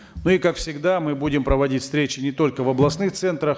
ну и как всегда мы будем проводить встречи не только в областных центрах